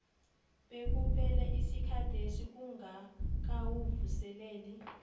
bekuphele isikhathesi ungakawuvuseleli